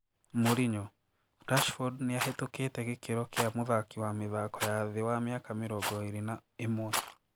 Mourinho:Rashford niahitũkite gikiro kia mũthaki wa mĩthako ya thii wa miaka mĩrongo ĩrĩ na ĩmwe.